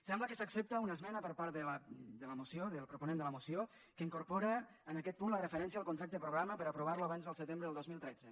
sembla que s’accepta una esmena per part del proponent de la moció que incorpora en aquest punt la referència al contracte programa per aprovar lo abans del setembre de dos mil tretze